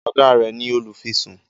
oga rẹ ní olufisun.